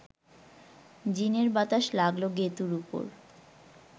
জিনের বাতাস লাগল গেঁতুর ওপর